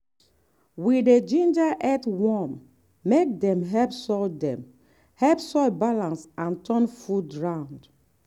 we dey ginger earthworm make dem help soil dem help soil balance and turn food round.